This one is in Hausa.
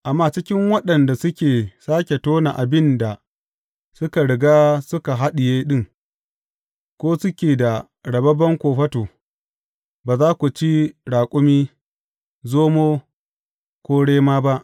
Amma, cikin waɗanda suke sāke tona abin da suka riga suka haɗiye ɗin, ko suke da rababben kofato, ba za ku ci raƙumi, zomo ko rema ba.